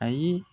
Ayi